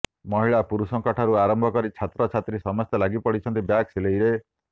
ମହିଳା ପୁରୁଷଙ୍କ ଠାରୁ ଆରମ୍ଭ କରି ଛାତ୍ରୀଛାତ୍ରୀ ସମସ୍ତେ ଲାଗିପଡ଼ିଛନ୍ତି ବ୍ୟାଗ୍ ସିଲେଇରେ